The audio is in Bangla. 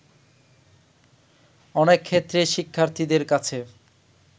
অনেক ক্ষেত্রেই শিক্ষার্থীদের কাছে